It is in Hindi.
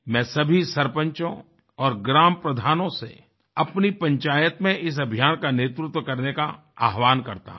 मैं सभी सरपंचों और ग्राम प्रधानों से अपनी पंचायत में इस अभियान का नेतृत्व करने का आवाहन करता हूं